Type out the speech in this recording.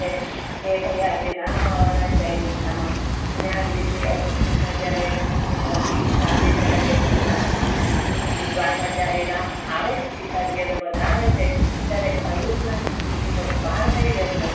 કે ભાઈ આજે રામ આવવા ના છે અયોધ્યા મા અને આવી રીતે એમ કે આમા જયારે પછી સાંજે જયારે મા રામ આવે છે સીતાજી ને બેધા આવે છે ત્યારે અયોધ્યા ની ખુશી નો પાર નહી રેહતો